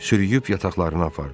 Sürüyüb yataqlarına apardı.